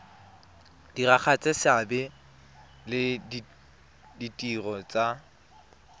diragatsa seabe le ditiro tsa